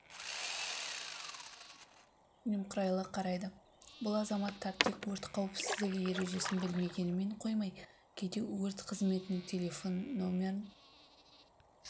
немқұрайлы қарайды бұл азаматтар тек өрт қауіпсіздігі ережесін білмегенімен қоймай кейде өрт қызметінің телефон номерін